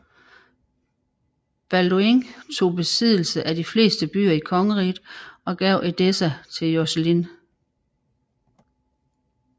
Balduin tog besiddelse af de fleste byer i kongeriget og gav Edessa til Joscelin